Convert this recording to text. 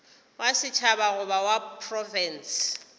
wa setšhaba goba wa profense